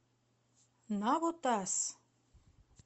навотас